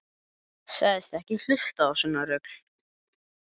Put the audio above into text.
Sagðist ekki hlusta á svona rugl.